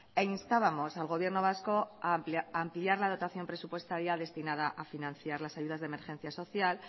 e instábamos al gobierno vasco ampliar la dotación presupuestaria destinada a financiar las ayudas de emergencia social